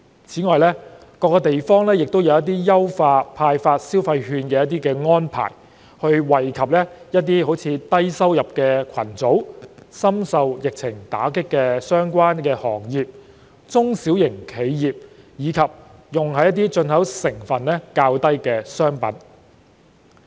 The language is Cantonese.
此外，各地也有一些派發消費券的優化安排，以惠及低收入群組、深受疫情打擊的相關行業和中小企，以及用於進口成分較低的商品。